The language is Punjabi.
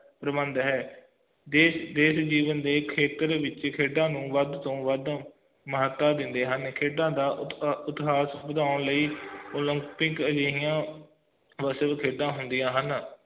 ਸੰਬੰਧ ਹੈ ਦੇਸ਼ ਤੇ ਵਿਦੇਸ਼ ਦੇ ਜੀਵਨ ਵਿਚ ਖੇਤਰ ਵਿਚ ਖੇਡਾਂ ਨੂੰ ਵੱਧ ਤੋਂ ਵੱਧ ਮਾਨਤਾ ਦਿੰਦੇ ਹਨ ਖੇਡਾਂ ਦਾ ਵਧਾਉਣ ਲਈ olympic ਜਿਹੀਆਂ ਵਿਸ਼ਵ ਖੇਡਾਂ ਹੁੰਦੀਆਂ ਹਨ